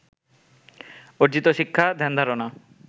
অর্জিত শিক্ষা, ধ্যান-ধারনা